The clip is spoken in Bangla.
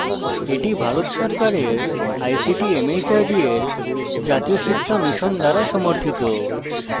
এটি ভারত সরকারের ict mhrd এর জাতীয় সাক্ষরতা mission দ্বারা সমর্থিত